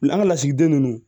La an ga lasigiden ninnu